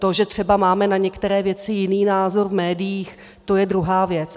To, že třeba máme na některé věci jiný názor v médiích, to je druhá věc.